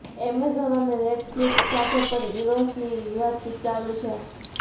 Amazon અને Netflix સાથે પણ ઇરોસની વાતચીત ચાલુ છે